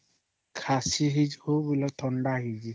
କାଶ ବି ହେଇଚି ଥଣ୍ଡା ବି ହେଇଚି